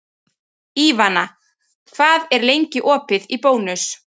Ívana, hvað er lengi opið í Bónus?